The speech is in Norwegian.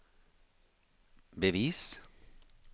bevis